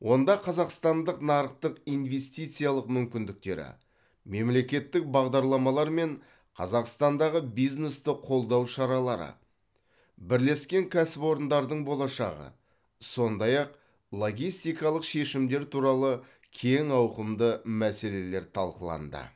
онда қазақстандық нарықтық инвестициялық мүмкіндіктері мемлекеттік бағдарламалар мен қазақстандағы бизнесті қолдау шаралары бірлескен кәсіпорындардың болашағы сондай ақ логистикалық шешімдер туралы кең ауқымды мәселелер талқыланды